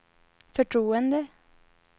förtroende